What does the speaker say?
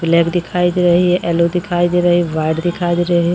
Black दिखाई दे रही है येलो दिखाई दे रही है वाइट दिखाई दे रही है।